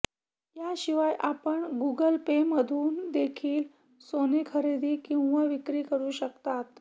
याशिवाय आपण Google Pay मधून देखील सोनं खरेदी किंवा विक्री करू शकतात